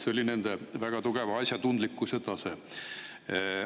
Selline oli nende asjatundlikkuse tase.